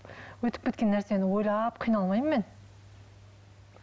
өтіп кеткен нәрсені ойлап қиналмаймын мен